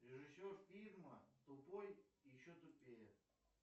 режиссер фильма тупой и еще тупее